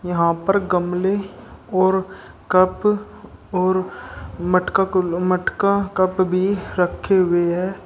यहां पर गमले और कप और मटका क मटका कप भी रखे हुए हैं।